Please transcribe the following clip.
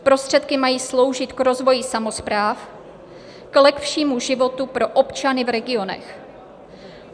Prostředky mají sloužit k rozvoji samospráv, k lepšímu životu pro občany v regionech.